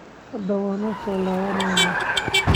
Hada wansolawaneyna.